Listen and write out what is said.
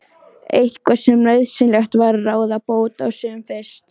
Eitthvað sem nauðsynlegt var að ráða bót á sem fyrst.